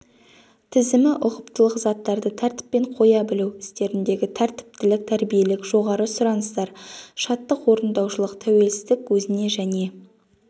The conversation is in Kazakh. тізімі ұқыптылық заттарды тәртіппен қоя білу істеріндегі тәртіптілік тәрбиелік жоғары сұраныстар шаттық орындаушылық тәуелсіздік өзіне және